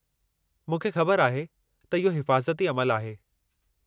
मूंखे ख़बर आहे त इहो हिफ़ाज़ती अमलु आहे।